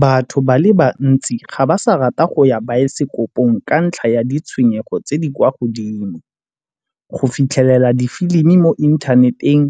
Batho ba le bantsi ga ba sa rata go ya dibaesekopong ka ntlha ya ditshwenyego tse di kwa godimo. Go fitlhelela difilimi mo inthaneteng